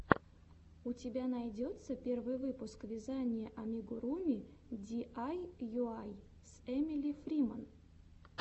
у тебя найдется первый выпуск вязания амигуруми диайуай с эмили фриман